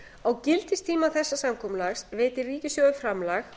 á gildistíma þessa samkomulags veitir ríkissjóður framlag